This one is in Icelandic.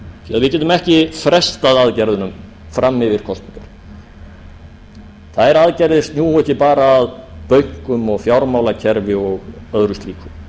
við getum ekki frestað aðgerðunum fram yfir kosningar þær aðgerðir snúa ekki bara að bönkum og fjármálakerfi og öðru slíku